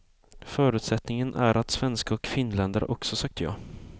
Förutsättningen är att svenskar och finländare också sagt ja.